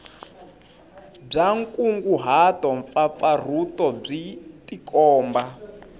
bya nkunguhato mpfapfarhuto byi tikomba